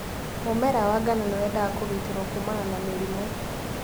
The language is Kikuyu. Mũmera wa ngano nĩwendaga kũgitĩrwo kuumana na mĩrimũ'